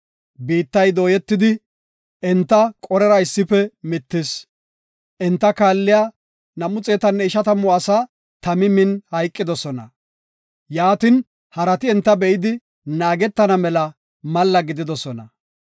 Biittay dooyetidi enta Qorera issife mittis; enta kaalliya 250 asaa tami min hayqidosona. Yaatin, harati enta be7idi naagetana mela malla gididosona.